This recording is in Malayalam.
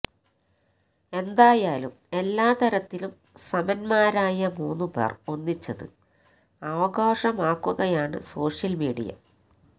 എന്തായാലും എല്ലാ തരത്തിലും സമന്മാരായ മൂന്നുപേര് ഒന്നിച്ചത് ആഘോഷമാക്കുകായാണ് സോഷ്യല് മീഡിയ